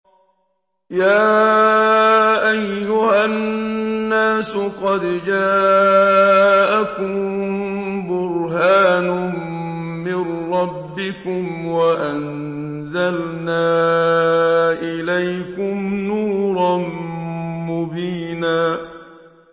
يَا أَيُّهَا النَّاسُ قَدْ جَاءَكُم بُرْهَانٌ مِّن رَّبِّكُمْ وَأَنزَلْنَا إِلَيْكُمْ نُورًا مُّبِينًا